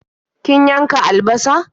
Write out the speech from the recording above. Kin yanka albasar?